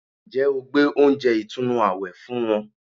Ǹjẹ́ o gbé oúnjẹ ìtùnú àwẹ̀ fún wọn